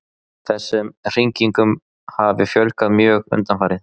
Þessum hringingum hafi fjölgað mjög undanfarið